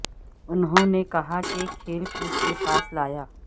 انہوں نے کہا کہ کھیل کود کے پاس لایا